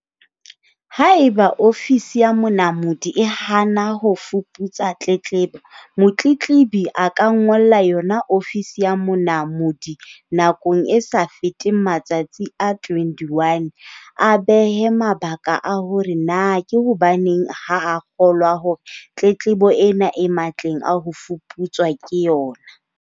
Haeba ofisi ya Monamodi e hana ho fuputsa tletlebo, motletlebi a ka ngolla yona ofisi ya Monamodi nakong e sa feteng matsatsi a 21. A behe mabaka a hore na ke hobaneng ha a kgolwa hore tletlebo ena e matleng a ho fuputswa ke yona?